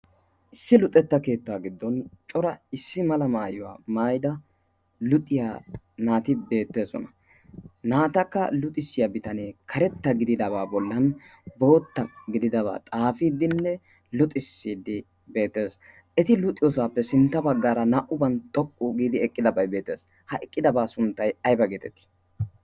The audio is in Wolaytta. Issi luuxetta keettaa giddon cora issi mala maayyuwaa maida luxiyaa naati beetteesona. naatakka luxissiyaa bitanee karetta gididabaa bollan bootta gididabaa xaafiiddinne luxissiiddi beetteesona. eti luxiyoosaappe sintta baggaara naa'uban xoqqu giidi eqqidabai beettees. ha eqqidabaa sunttai aiba geetetii?